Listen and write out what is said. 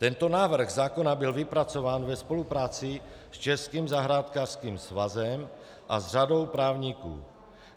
Tento návrh zákona byl vypracován ve spolupráci s Českým zahrádkářským svazem a s řadou právníků.